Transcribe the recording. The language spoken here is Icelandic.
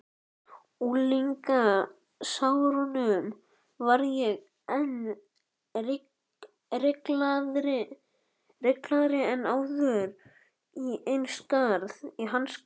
unglingsárunum varð ég enn ringlaðri en áður í hans garð.